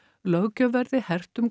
löggjöf verði hert um